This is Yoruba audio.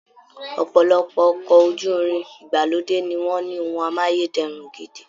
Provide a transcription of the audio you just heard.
Ọ̀pọ̀lọpọ̀ ọkọ̀ ojú-irin ìgbàlódé ni wọ́n ní ohun amáyé dẹrùn gidi